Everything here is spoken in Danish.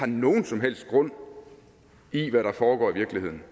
nogen som helst grund i det der foregår i virkeligheden